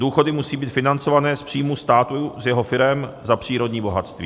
Důchody musí být financované z příjmů státu, z jeho firem, za přírodní bohatství.